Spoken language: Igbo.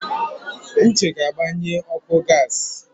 Uche ga-agbanye ọkụ gas.